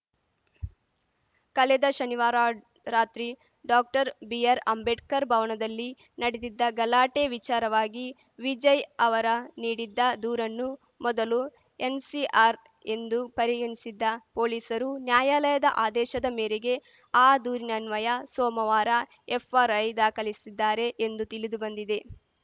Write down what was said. ಕಳೆದ ಶನಿವಾರ ರಾತ್ರಿ ಡಾಕ್ಟರ್ಬಿಆರ್‌ಅಂಬೇಡ್ಕರ್‌ ಭವನದಲ್ಲಿ ನಡೆದಿದ್ದ ಗಲಾಟೆ ವಿಚಾರವಾಗಿ ವಿಜಯ್‌ ಅವರ ನೀಡಿದ್ದ ದೂರನ್ನು ಮೊದಲು ಎನ್‌ಸಿಆರ್‌ ಎಂದು ಪರಿಗಣಿಸಿದ್ದ ಪೊಲೀಸರು ನ್ಯಾಯಾಲಯದ ಆದೇಶದ ಮೇರೆಗೆ ಆ ದೂರಿನನ್ವಯ ಸೋಮವಾರ ಎಫ್‌ಆರ್‌ಐ ದಾಖಲಿಸಿದ್ದಾರೆ ಎಂದು ತಿಳಿದು ಬಂದಿದೆ